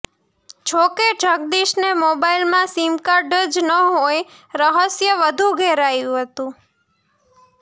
જો કે જગદીશને મોબાઈલમાં સીમકાર્ડ જ ન હોય રહસ્ય વધુ ઘેરાયુ હતુ